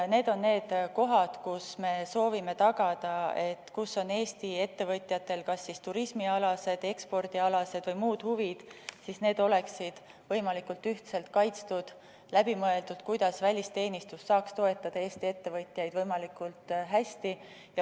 Need on need kohad, kus me soovime tagada, et Eesti ettevõtjate kas turismialased, ekspordialased või muud huvid oleksid võimalikult ühtselt kaitstud ning oleks läbi mõeldud, kuidas välisteenistus saaks toetada Eesti ettevõtjaid võimalikult hästi.